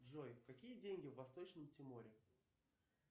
джой какие деньги в восточном тиморе